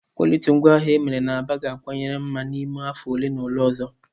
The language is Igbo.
Kwọlitii ngwaahịa emere na Aba ga-akawanye mma n'ime afọ ole na ole ọzọ.